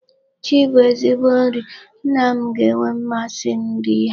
Ji bụ ezigbo nri. Nna m ga-enwe mmasi iri ya.